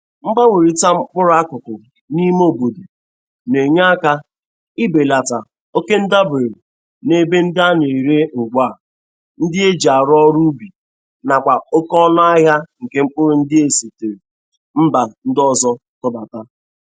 Mgbanwerịta mkpụrụ akụkụ n'ime obodo na-enye aka ibelata okendabere n'ebe ndị ana-ere ngwa ndị a e ji arụ ọrụ ubi nakwa oke ọnụ ahia nke mkpụrụ ndị e sitere mba ndị ọzọ tụbata.